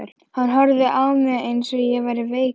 Hann horfði á mig eins og ég væri veikur.